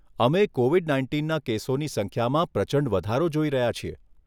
અમે કોવિડ નાઇન્ટીનના કેસોની સંખ્યામાં પ્રચંડ વધારો જોઈ રહ્યા છીએ.